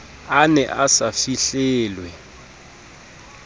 a ne a sa fihlelwe